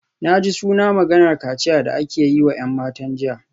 Na ji suna maganar kaciyar da aka yi wa ‘yan matan jiya